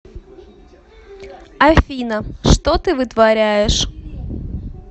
афина что ты вытворяешь